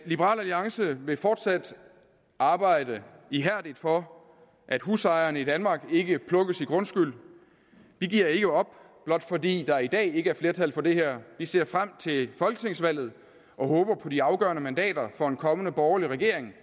liberal alliance vil fortsat arbejde ihærdigt for at husejerne i danmark ikke plukkes i grundskyld vi giver ikke op blot fordi der i dag ikke er flertal for det her vi ser frem til folketingsvalget og håber på de afgørende mandater for en kommende borgerlig regering